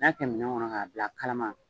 Ni y'a kɛ minɛn kɔnɔ k'a bila a kalama